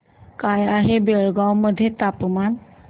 काय आहे बेळगाव मध्ये तापमान